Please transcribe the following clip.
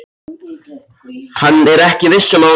Hann er ekki viss um að hún segi satt.